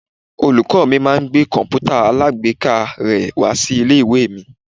Olùkọ́ mi máa ń gbé komputa alagbeeka rè wá sí ilé-ìwé mi.